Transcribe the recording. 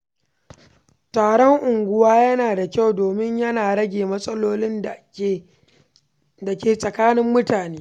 Taron unguwa yana da kyau domin yana rage matsalolin da ke tsakanin mutane.